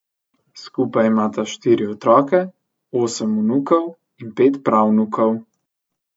Skupaj imata štiri otroke, osem vnukov in pet pravnukov.